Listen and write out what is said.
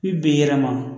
I ben'a